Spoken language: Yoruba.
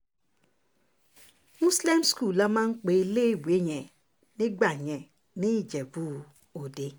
moslem school la máa ń pe iléèwé yẹn nígbà yẹn ní ìjẹ́bú-ọdẹ